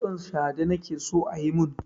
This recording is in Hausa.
Kitson shade nake so a yi mun.